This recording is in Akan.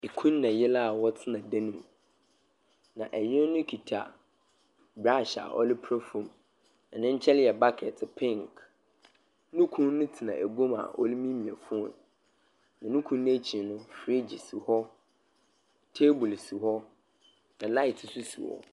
Kun na yer a wɔtsena dan mu. Na yer no kita brush a wɔdze pra fam. Ne nkyɛn yɛ bucket pink. No kun no tsena egua mu a ɔremiemia phone, nano kun no ekyir no, fridge si hɔ, table si hɔ, na light nsoi si hɔ.